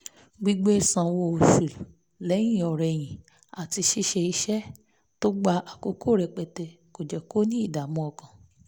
gbígbé sanwó oṣù lẹ́yìn-ọ̀-rẹyìn àti ṣíṣe iṣẹ́ tó gba àkókò rẹpẹtẹ kò jẹ́ kó ní ìdààmú ọkàn